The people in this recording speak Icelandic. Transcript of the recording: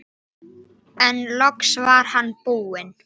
En loks var hann búinn.